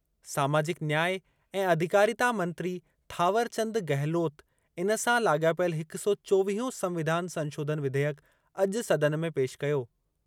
सामाजिक न्याय ऐं अधिकारिता मंत्री थावरचंद गहलोत इन सां लाॻापियल हिक सौ चोवीहों संविधान संशोधन विधेयकु अॼु सदन में पेशि कयो।